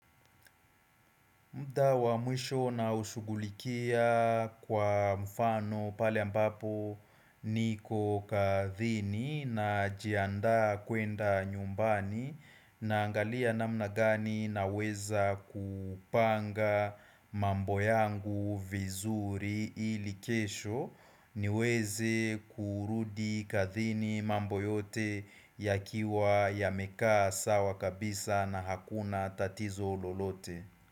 Muda wa mwisho unaoushugulikia kwa mfano pale ambapo niko kazini najianda kwenda nyumbani naangalia namnabgani na weza kupanga mambo yangu vizuri ili kesho niweze kurudi kazini mambo yote ya kiwa yameka sawa kabisa na hakuna tatizo lolote.